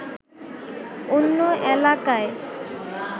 অন্য এলাকায়